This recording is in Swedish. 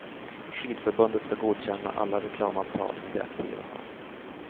Skidförbundet ska godkänna alla reklamavtal som de aktiva har.